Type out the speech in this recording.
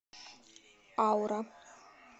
аура